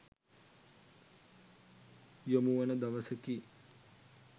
යොමුවන දවසකි.